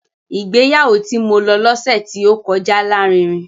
Ìgbéyàwó tí mo lọ lọ́sẹ̀ tí ó kọjá lárinrin